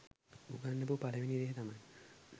උගන්නපු පළවෙනි දේ තමයි